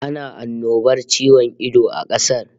Ana annobar ciwon ido a kasar